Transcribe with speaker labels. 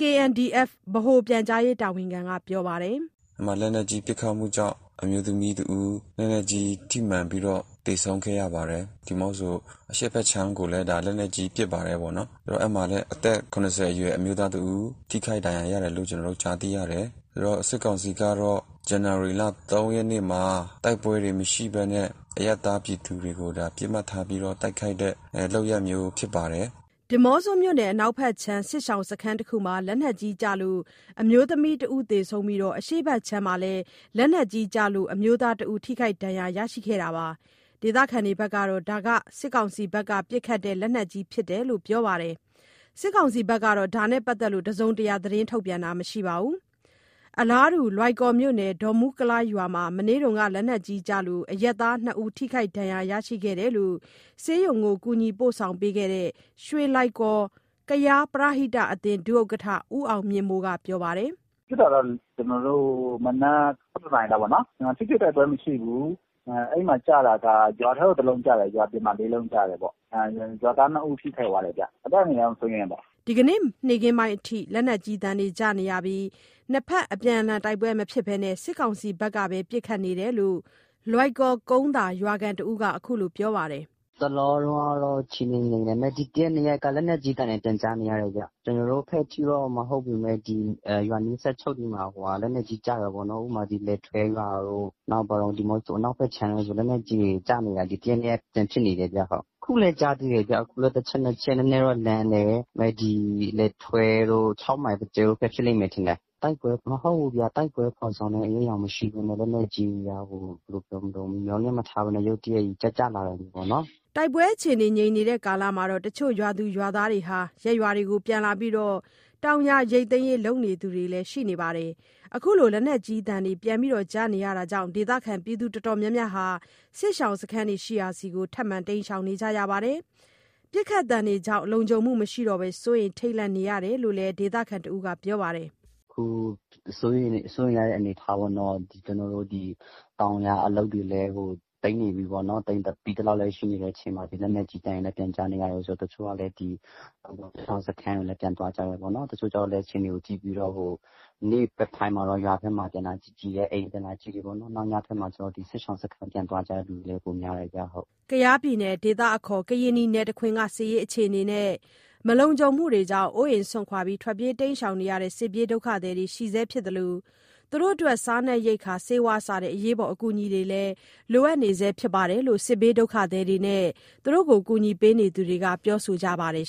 Speaker 1: KNDF ဗဟို ပြန်ကြားရေးတာဝန်ခံက ပြောပါတယ်။ “
Speaker 2: အဲ့မှာ လက်နက်ကြီးပစ်ခတ်မှုကြောင့် အမျိုးသမီးတဦး လက်နက်ကြီးထိမှန်ပြီးတော့ သေဆုံးခဲ့ရပါတယ်။ ဒီးမော့ဆို အရှေ့ဘက်ခြမ်းကိုလည်း ဒါ လက်နက်ကြီးပစ်ပါတယ်ပေါ့နော်။ ဆိုတော့ အဲ့မှာလည်း အသက် ၇၀ အရွယ်အမျိုးသားတဦး ထိခိုက်ဒဏ်ရာရတယ်လု့ိ ကျနော်တု့ိကြားသိရတယ်။ အဲ့တော့ စစ်ကောင်စီကတော့ ဇန်နဝါရီလ ၃ ရက်နေ့မှာ တိုက်ပွဲတွေမရှိဘဲနဲ့ အရပ်သားပြည်သူတွေကို ဒါ ပစ်မှတ်ထားပြီးတော့ တိုက်ခိုက်တဲ့ လုပ်ရပ်မျိုးဖြစ်ပါတယ်။
Speaker 1: ” ဒီးမော့ဆိုမြို့နယ် အနောက်ဘက်ခြမ်း စစ်ရှောင်စခန်းတခုမှာ လက်နက်ကြီးကျလို့ အမျိုးသမီးတဦးသေဆုံးပြီး အရှေ့ဘက်ခြမ်းမှာလည်း လက်နက်ကြီးကျလို့ အမျိုးသားတဦး ထိခိုက်ဒဏ်ရာရရှိသွားတာပါ။ ဒေသခံတွေကတော့ ဒါဟာ စစ်ကောင်စီဘက်က ပစ်ခတ်တဲ့လက်နက်ကြီးဖြစ်တယ်လို့ ပြောပါတယ်။ စစ်ကောင်စီဘက်ကတော့ ဒါနဲ့ပတ်သက်ပြီး တစုံတရာ ထုတ်ပြန်တာမရှိပါဘူး။ အလားတူ လွိုင်ကော်မြို့ ဒေါမူကလားရွာမှာ မနေ့က လက်နက်ကြီးကျလို့ အရပ်သား နှစ်ဦးထိခိုက်ဒဏ် ရာ ရရှိတယ်လို့ ဆေးရုံကို ကူညီပို့ဆောင်ခဲ့တဲ့ ရွှေလွိုင်ကော် ပရဟိတအသင်း ဒုဥက္ကဋ္ဌ ဦးအောင်မြင့်မိုးက ပြောပါတယ်။
Speaker 3: “ဖြစ်တာတော့ ကျနော်တို့ မနက် ၁၁ နာရီလောက်ပေါ့နော်၊ ထိတွေ့တိုက်ပွဲမရှိဘူး။ အဲ့မှာကျတာက ရွာထဲကို တလုံးကျတယ်ဗျ။ ရွာအပြင် ၄ လုံးကျတယ်ပေါ့။ ရွာသား ၂ ဦးထိခိုက်သွားတယ်ဗျ။ အသက် အန္တရာယ်တော့ မစိုးရိမ်ရပါဘူး
Speaker 1: ။” ဒီနေ့ နေ့ခင်းပိုင်းအထိ လက်နက်ကြီးသံတွေ ကြားနေရပြီး နှစ်ဘက်အပြန်အလှန်တိုက်ပွဲမဖြစ်ဘဲ စစ်ကောင်စီဘက်က ပစ်ခတ်နေတယ်လို့ လွိုင်ကော် ကုန်းသာရွာခံတဦး ခုလို ပြောပါတယ်။
Speaker 3: “တလောတုန်းက အခြေအနေငြိမ်တယ်။ ဒါပေမဲ့ ဒီ တရက် နှစ်ရက်က လက်နက်ကြီးသံလည်း ပြန်ကြားနေရတယ်ဗျ။ ကျနော်တို့ဘက်ထိတော့ မဟုတ်ဘူးပေမဲ့ ဒီရွာနီးစပ်ချင်းတွေမှာ လက်နက်ကြီးကျတယ်ပေါ့နော်။ ဥပမာ လယ်ထွဲရွာတို့၊ နောက် ဒီးမော့ဆို အနောက်ဘက်ခြမ်းတို့ဆို လက်နက်ကြီးတွေကျနေတာ။ ဒီတရက် နှစ်ရက်ပြန်ဖြစ်နေတယ်ဗျ-ဟုတ်။ အခုလည်း ကြားသေးတယ်ဗျ။ အခုလည်း တချက် နှစ်ချက် နည်းနည်းတော့ လှမ်းတယ်။ ဒီလယ်ထွဲတို့။ ၆ မိုင်ဘက်ဖြစ်လိမ့်မယ်ထင်တယ်။ တိုက်ပွဲမဟုတ်ဘူးဗျ။ တိုက်ပွဲဖော်ဆောင်တဲ့ အရိပ်အယောင်မရှိပေမယ့် လက်နက်ကြီးက ဟို…ဘယ်လိုပြောမတုန်း။ မျှော်လင့်မထားဘဲနဲ့ ရုတ်တရက်ကြီး ကျကျလာတာမျိုးပေါ့နော်။
Speaker 1: ” တိုက်ပွဲအခြေအနေငြိမ်တဲ့ ကာလမှာ တချို့ရွာသူရွာသားတွေ ရပ်ရွာကို ပြန်လာပြီး တောင်ယာရိတ်သိမ်းရေး လုပ်နေသူတွေလည်း ရှိနေပါတယ်။ အခုလို လက်နက်ကြီးသံ ပြန်ကြားနေရတာကြောင့် ဒေသခံအတော်များများက စစ်ရှောင်စခန်းရှိရာဆီ ထပ်မံတိမ်းရှောင်နေကြရပါတယ်။ ပစ်ခတ်သံတွေကြောင့် လုံခြုံမှုမရှိတော့ဘဲ စိုးရိမ်ထိတ်လန့်နေရတယ်လို့ ဒေသခံတဦးက ပြောပါတယ်။
Speaker 3: “ခု စိုးရိမ်ရတဲ့ အနေအထားပေါ့နော်။ ကျနော်တို့ ဒီတောင်ယာအလုပ်တွေလည်း သိမ်းနေပြီပေါ့နော်။ သိမ်းပြီသလောက်လည်း ရှိနေတဲ့အချိန် ဒီလက်နက်ကြီးသံတွေလည်း ပြန်ကြားနေရတယ်ဆိုတော့ တချို့က ဒီတောင်ပေါ်စစ်ရှောင်စခန်းကိုလည်း ပြန်သွားကြတယ်ပေါ့နော်။ တချို့ကျတော့လည်း အခြေအနေကို ကြည့်ပြီးတော့ နေ့ဘက်ပိုင်းမှာတော့ ရွာထဲမှာ ပြန်လာကြည့်ကြည့်တယ်။ အိမ်ပြန်လာကြည့်တယ်ပေါ့နော်။ နောက်ညဘက်မှာဆို ဒီစစ်ရှောင်စခန်းပြန်သွားကြတဲ့လူလည်း ပိုများတယ်ဗျဟုတ်
Speaker 1: ။” ကယားပြည်နယ် ဒေသအခေါ် ကရင်နီနယ်တခွင်က စစ်ရေးအခြေအနေနဲ့ မလုံခြုံမှုတွေကြောင့် အိုးအိမ်စွန့်ခွာ ပြေးရတဲ့ စစ်ပြေးဒုက္ခသည်တွေရှိဆဲဖြစ်သလို စားနပ်ရိက္ခာ၊ ဆေးဝါး စတဲ့ အကူအညီတွေလည်း လိုအပ်နေဆဲဖြစ်တယ်လို့ စစ်ဘေးဒုက္ခသည်နဲ့ ကူညီပေးသူတွေက ပြောဆိုကြပါတယ်